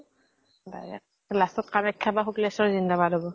direct last ত কামাখ্যা বা শুক্লেস্বৰ জিন্দাবাদ হব।